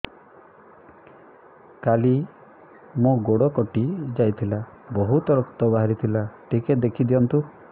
କାଲି ମୋ ଗୋଡ଼ କଟି ଯାଇଥିଲା ବହୁତ ରକ୍ତ ବାହାରି ଥିଲା ଟିକେ ଦେଖି ଦିଅନ୍ତୁ